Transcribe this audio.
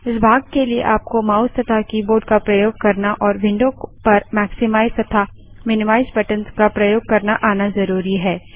इस भाग के लिए आपको माउस तथा कीबोर्ड का प्रयोग करना और विंडो पर मैक्समाइज़ तथा मिनीमाइज़ बटंस का प्रयोग करना आना ज़रुरी है